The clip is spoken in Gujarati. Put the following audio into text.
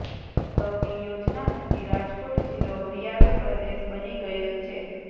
સૌની યોજના થકી રાજકોટ જીલ્લો હરિયાળો પ્રદેશ બની ગયેલ છે